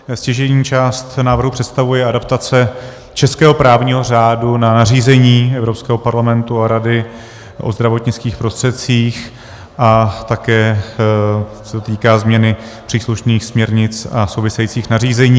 Stěžejní část návrhu představuje adaptace českého právního řádu na nařízení Evropského parlamentu a Rady o zdravotnických prostředcích a také se týká změny příslušných směrnic a souvisejících nařízení.